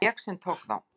Það var ég sem tók þá.